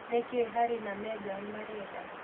Nĩ kĩĩ Harry na Meghan marenda?